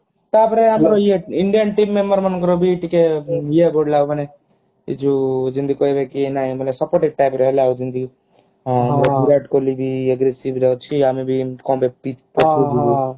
ତା ପରେ ଆମର ଇଏ indian team member ମାନଙ୍କର ବି ଟିକେ ଇଏ ବଢିଲା ମାନେ ଏ ଯୋଉ ଯେମିତି କହିବ କି ନାଇ supportive type ର ହେଲା ଯେମିତି ଯେମିତି ବିରାଟ କୋହଲି ବି aggressive ରେ ଅଛି ଆମେ ବି